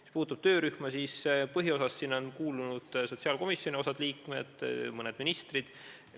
Mis puutub töörühma, siis põhiosas on sellesse kuulunud osa sotsiaalkomisjoni liikmeid ja mõned ministrid.